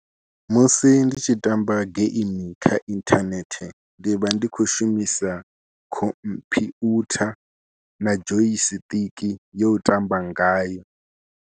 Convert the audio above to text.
Musi ndi tshi tamba game kha inthanethe ndi vha ndi khou shumisa khompyutha na joy stick yo u tamba ngayo.